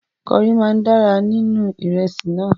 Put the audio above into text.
Kọrí máa dára níní ìrẹsì náà.